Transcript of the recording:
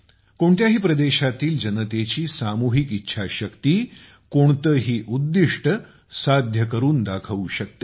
कोणत्याही प्रदेशातील जनतेची सामुहिक इच्छाशक्ती कोणतेही उद्दिष्ट्य साध्य करून दाखवू शकते